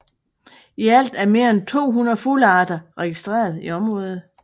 I alt er mere end 200 fuglearter registreret i området